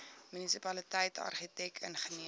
munisipaliteit argitek ingenieur